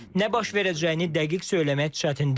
Nə baş verəcəyini dəqiq söyləmək çətindir.